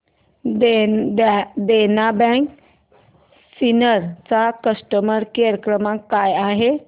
देना bank Sinnar चा customer care क्रमांक काय आहे